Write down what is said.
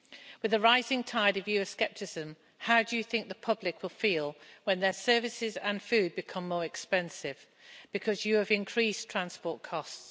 With the rising tide of Euroscepticism, how do you think the public will feel when their services and food become more expensive because you have increased transport costs?